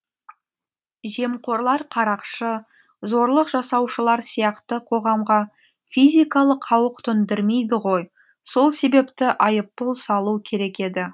жемқорлар қарақшы зорлық жасаушылар сияқты қоғамға физикалық қауік төндірмейді ғой сол себепті айыппұл салу керек еді